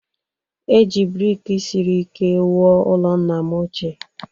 E ji brik siri ike wuo ụlọ nna m ochie